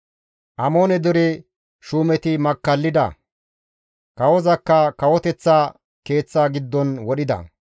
Amoone dere shuumeti makkallida; kawozakka kawoteththa keeththa giddon wodhida.